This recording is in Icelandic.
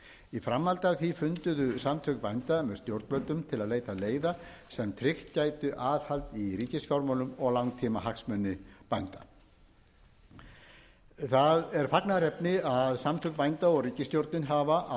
í framhaldi af því funduðu samtök bænda með stjórnvöldum til að leita leiða sem tryggt gætu aðhald í ríkisfjármálum og langtímahagsmuni bænda það er fagnaðarefni að samtök bænda og ríkisstjórnin hafa að